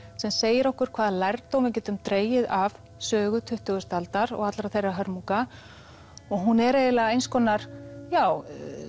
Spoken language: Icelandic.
sem segir okkur hvaða lærdóm við getum dregið af sögu tuttugustu aldar og allra þeirra hörmunga og hún er eiginlega eins konar já